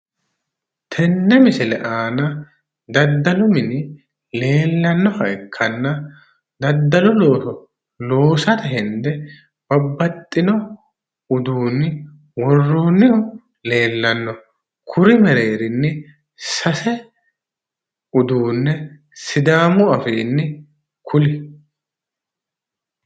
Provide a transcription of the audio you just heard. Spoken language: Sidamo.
Tenne misile aana daddalu mini leellannoha ikkanna, daddalu looso loosate hende babbaxxino uuduunni worroonnihu leellanno. kuri meereerinni sidaamu afiinni sase kuli.